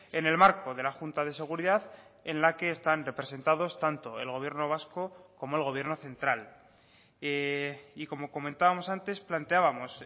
en el marco de la junta de seguridad en la que están representados tanto el gobierno vasco como el gobierno central y como comentábamos antes planteábamos